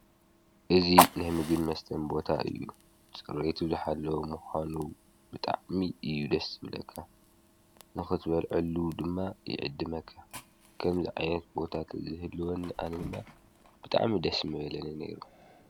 እዙ ነሕምግን መስተም ቦታ እዩ ። ጽርይቱ ዝኃለዉ ምዃኑ ብጣዕሚ እዩ ደስ ምለከ ንኽትበልዕሉ ድማ ይዕድ መከ ከም ዝ ዓነት ቦታት ዘህልወኒ ኣንድማ ብጣዕሚ ደስ መበለኒ ነይሩ።